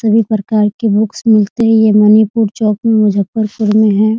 सभी प्रकार के बुकस मिलते हैं ये मणिपुर चौक में मुज़फ़्फ़रपुर में है ।